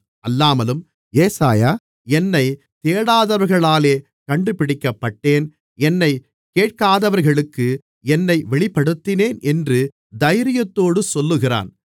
அல்லாமலும் ஏசாயா என்னைத் தேடாதவர்களாலே கண்டுபிடிக்கப்பட்டேன் என்னைக் கேட்காதவர்களுக்கு என்னை வெளிப்படுத்தினேன் என்று தைரியத்தோடு சொல்லுகிறான்